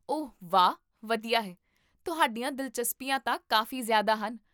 ਓਹ ਵਾਹ, ਵਧੀਆ ਹੈ, ਤੁਹਾਡੀਆਂ ਦਿਲਚਸਪੀਆਂ ਤਾਂ ਕਾਫ਼ੀ ਜ਼ਿਆਦਾ ਹਨ